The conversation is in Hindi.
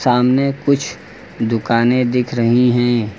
सामने कुछ दुकाने दिख रही हैं।